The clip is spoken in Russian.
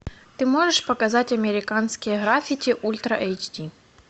ты можешь показать американские граффити ультра эйч ди